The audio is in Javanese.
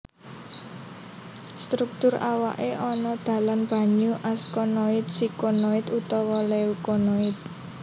Struktur awake ana dalan banyu askonoid sikonoid utawa leukonoid